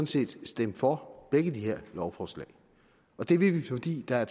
set stemme for begge de her lovforslag og det vil vi fordi der